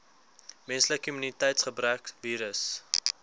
menslike immuniteitsgebrekvirus